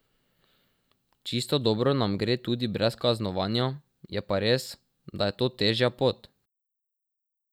Čisto dobro nam gre tudi brez kaznovanja, je pa res, da je to težja pot.